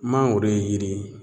Mangoro yiri ye